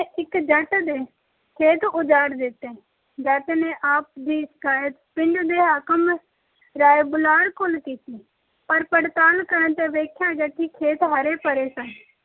ਇੱਕ ਜੱਟ ਦੇ ਖੇਤ ਉਜਾੜ ਦਿੱਤੇ। ਜੱਟ ਨੇ ਆਪ ਦੀ ਸ਼ਿਕਾਇਤ ਪਿੰਡ ਦੇ ਹਾਕਮ ਰਾਏ ਬੁਲਾਰ ਕੋਲ ਕੀਤੀ ਪਰ ਪੜਤਾਲ ਕਰਨ ਤੇ ਵੇਖਿਆ ਗਿਆ ਕਿ ਖੇਤ ਹਰੇ-ਭਰੇ ਸਨ।